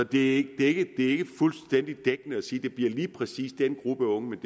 det er ikke ikke fuldstændig dækkende at sige at det bliver lige præcis den gruppe unge men